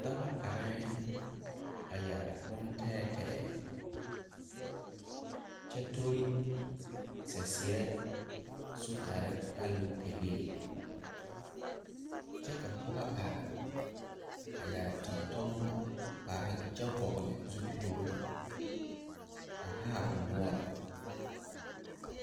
Daba areŋ a yɛre boŋ tɛɛtɛɛ kyɛ tori saseɛ sogyare alopelee kyɛ ka pɔge are a yɛre tontonneba kpare kyɛ vɔgle zupile a haa o noɛre.